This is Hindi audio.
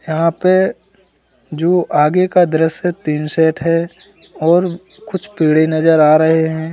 यहां पे जो आगे का दृश्य टिन सेट है और कुछ पेड़े नजर आ रहे हैं।